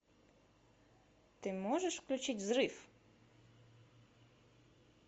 ты можешь включить взрыв